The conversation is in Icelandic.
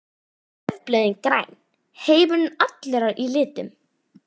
Laufblöðin græn, heimurinn allur í litum.